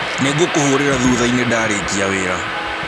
Nĩngũkũhũrĩra thũthaĩnĩ ndarĩkia wĩra.